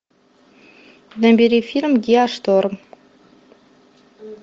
набери фильм геошторм